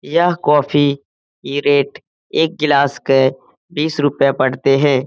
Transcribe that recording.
यह कॉफी की रेट एक ग्लास के बीस रूपये पड़ते है।